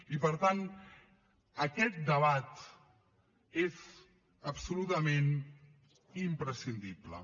i per tant aquest debat és absolutament imprescindible